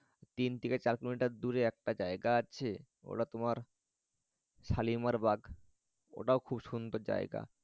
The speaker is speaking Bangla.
তিন থেকে চার কিলোমিটার দূরে একটা জায়গা আছে ওটা তোমার শালিমার বাগ ওটাও খুব সুন্দর জায়গা।